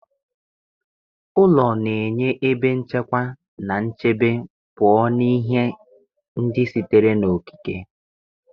Ụlọ na-enye ebe nchekwa na nchebe pụọ na ihe ndị sitere n'okike